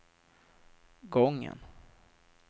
gången